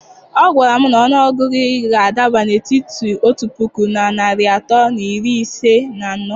Ọ gwara m na ọnụ ọgụgụ gị ga-adaba n'etiti otu puku na narị atọ na iri ise na anọ.